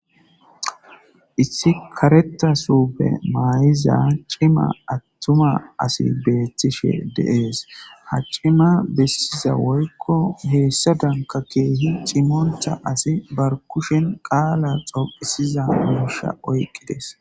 Issi kareta supe maayiza cima attuma asi beettishe deees ha cima bessiza woykko heessa danka keehi cimonta asi bar kushen qaala xopisiza muisha oyqqides.